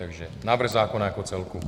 Takže návrh zákona jako celku.